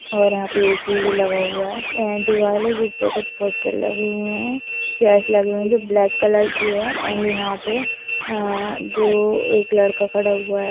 और यहां पे ए.सी. भी लगा हुआ है एं दीवाल है जिस पे कुछ पोस्टर लगे हुए है चेयर्स लगे हुए है जो ब्लैक कलर की है एंड यहां पे एं जो एक लड़का खड़ा हुआ है --